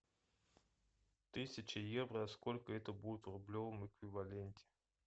тысяча евро сколько это будет в рублевом эквиваленте